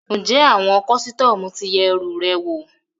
Ǹjẹ́ àwọn kọ́sítọ́mù ti yẹ ẹrù rẹ wò?